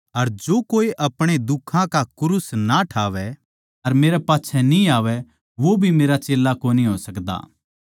अर जो कोए अपणा दुखां का क्रूस ना ठावै अर मेरै पाच्छै न्ही आवै वो भी मेरा चेल्ला कोनी हो सकदा